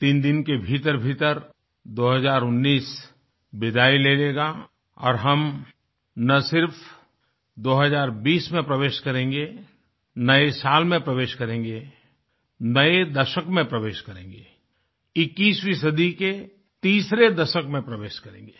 3 दिन के भीतरभीतर 2019 विदाई ले लेगा और हम ना सिर्फ 2020 में प्रवेश करेंगे नए साल में प्रवेश करेंगे नये दशक में प्रवेश करेंगे21वीं सदी के तीसरे दशक में प्रवेश करेंगे